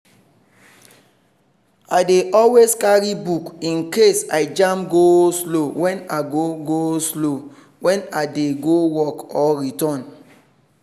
i dey always carry book in case i jam go-slow when i go-slow when i dey go work or return.